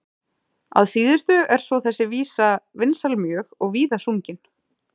Að síðustu er svo þessi vísa vinsæl mjög og víða sungin.